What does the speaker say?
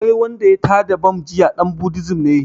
Wai wanda ya tada bam jiya ɗan buddism ne